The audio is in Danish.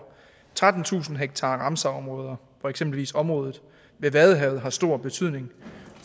trettentusind hektar ramsarområder hvor eksempelvis området ved vadehavet har stor betydning